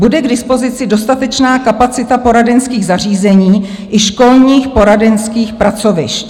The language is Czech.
Bude k dispozici dostatečná kapacita poradenských zařízení i školních poradenských pracovišť."